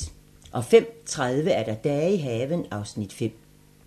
05:30: Dage i haven (Afs. 5)